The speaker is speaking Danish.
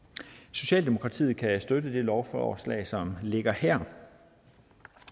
socialdemokratiet kan støtte det lovforslag som ligger her